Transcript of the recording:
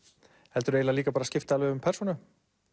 heldur líka skipta alveg um persónu